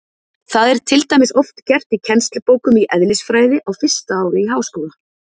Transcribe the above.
Það er til dæmis oft gert í kennslubókum í eðlisfræði á fyrsta ári í háskóla.